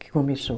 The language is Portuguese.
Que começou.